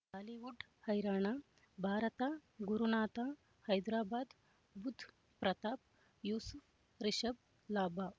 Bollywood ಹೈರಾಣ ಭಾರತ ಗುರುನಾಥ ಹೈದರಾಬಾದ್ ಬುಧ್ ಪ್ರತಾಪ್ ಯೂಸುಫ್ ರಿಷಬ್ ಲಾಭ